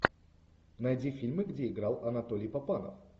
найди фильмы где играл анатолий папанов